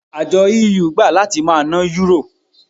Àjọ EU gbà láti máa ná Yúrò.